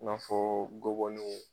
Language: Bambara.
N'a fɔɔ gɔbɔnin